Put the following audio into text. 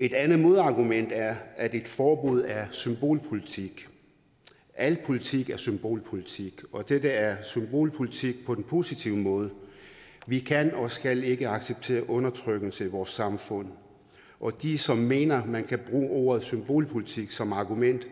et andet modargument er at et forbud er symbolpolitik al politik er symbolpolitik og dette er symbolpolitik på den positive måde vi kan og skal ikke acceptere undertrykkelse i vores samfund og de som mener at man kan bruge ordet symbolpolitik som argument